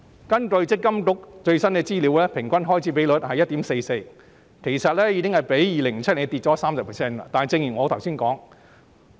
根據積金局最新資料，行政費用平均開支比率是 1.44%， 其實已較2007年下跌了 30%。